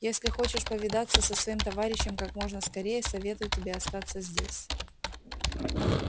если хочешь повидаться со своим товарищем как можно скорее советую тебе остаться здесь